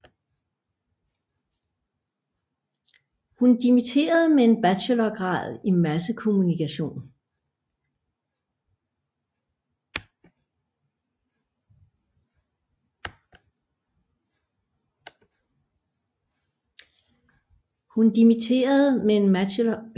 Hun dimitterede med en bachelorgrad i massekommunikation